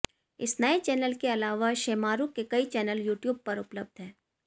इस नए चैनल के अलावा शेमारु के कई चैनल यूट्यूब पर उपलब्ध है